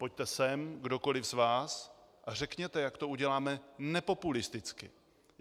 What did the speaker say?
Pojďte sem, kdokoli z vás, a řekněte, jak to uděláme nepopulisticky.